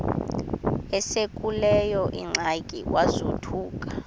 esekuleyo ingxaki wazothuka